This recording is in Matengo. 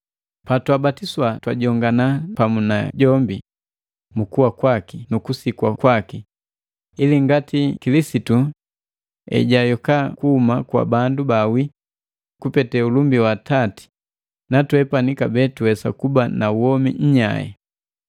Patwabatiswa twajongana pamu na jombi mu kuwa kwaki nukusikwa kwaki, ili ngati Kilisitu ejayoka kuhuma kwa bandu baawi kupete ulumbi wa Atati na twepani kabee tuwesa kuba na womi nyai.